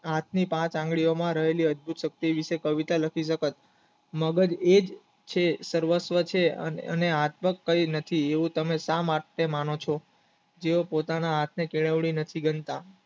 હાથની પાંચ આંગળીઓ માં રહેલી અદભુત શક્તિ વિશે કવિતા લખતી વખત મગજ એક છે સર્વસ્ય છે હવે હાતવક કઈ નથી એવું તમે સ માટે માનો છો જે પોતાના હાથ ની કેળવણી હતી